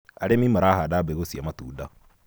arĩmi marahanda mbegũ cia matunda